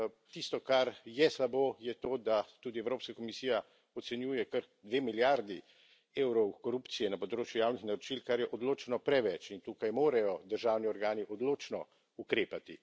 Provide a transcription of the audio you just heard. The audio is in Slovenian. Tisto, kar je slabo, je to, da tudi Evropska komisija ocenjuje kar 2 milijardi evrov korupcije na področju javnih naročil, kar je odločno preveč in tukaj morajo državni organi odločno ukrepati.